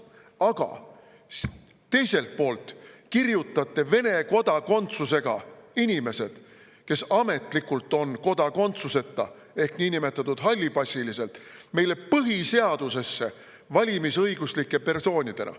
Aga teiselt poolt kirjutate Vene kodakondsusega inimesed, kes ametlikult on kodakondsuseta ehk niinimetatud hallipassilised, meie põhiseadusesse valimisõiguslike persoonidena.